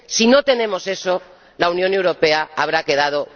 Si no tenemos eso, la Unión Europea habrá quedado muda.